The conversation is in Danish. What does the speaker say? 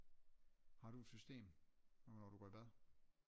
Har du et system hvornår du går i bad